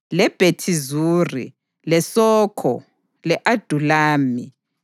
leBhethi Zuri, leSokho, le-Adulami,